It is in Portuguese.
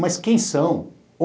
Mas quem são?